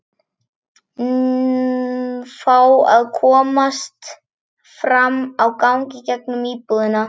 Fá að komast fram á gang í gegnum íbúðina.